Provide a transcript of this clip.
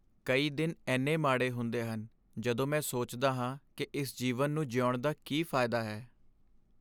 ਕਈ ਦਿਨ ਇੰਨੇ ਮਾੜੇ ਹੁੰਦੇ ਹਨ ਜਦੋਂ ਮੈਂ ਸੋਚਦਾ ਹਾਂ ਕਿ ਇਸ ਜੀਵਨ ਨੂੰ ਜੀਉਣ ਦਾ ਕੀ ਫਾਇਦਾ ਹੈ?